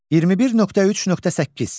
21.3.8.